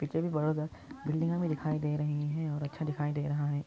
building हमे दिखाई दे रही हे और बहोत अच्छा दिखाई दे रहा हे |